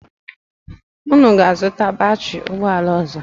Unu na-azụta batịrị ụgbọala ọzọ?